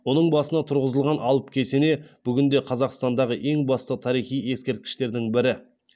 оның басына тұрғызылған алып кесене бүгінде қазақстандағы ең басты тарихи ескерткіштердің бірі